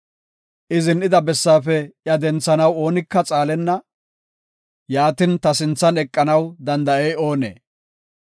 I zin7ida bessaafe iya denthanaw oonika xaalenna; yaatin, ta sinthan eqanaw danda7ey oonee?